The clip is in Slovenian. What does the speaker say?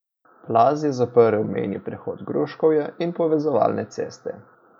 Plaz je zaprl mejni prehod Gruškovje in povezovalne ceste.